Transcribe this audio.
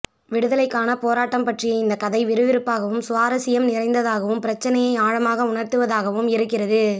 விடுதலைக்கான போராட்டம் பற்றிய இந்த கதை விறுவிறுப்பாகவும் சுவாரசியம் நிறைந்ததாகவும் பிரச்சினையை ஆழமாக உணர்த்துவதாகவும் இருக்கிறது